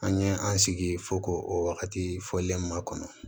An ye an sigi fo k'o o wagati fɔ makɔnɔ